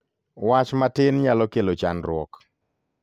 Wach matin nyalo kelo chandruok.